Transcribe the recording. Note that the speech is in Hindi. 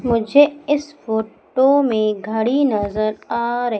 मुझे इस फोटो में घड़ी नजर आ रही--